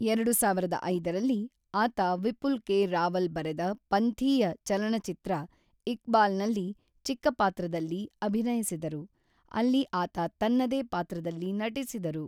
ಎರಡು ಸಾವಿರದ ಐದರಲ್ಲಿ ಆತ ವಿಪುಲ್ ಕೆ. ರಾವಲ್ ಬರೆದ ಪಂಥೀಯ ಚಲನಚಿತ್ರ ಇಕ್ಬಾಲ್‌ನಲ್ಲಿ ಚಿಕ್ಕಪಾತ್ರವದಲ್ಲಿ ಅಭಿನಯಿಸಿದರು, ಅಲ್ಲಿ ಆತ ತನ್ನದೇ ಪಾತ್ರದಲ್ಲಿ ನಟಿಸಿದರು.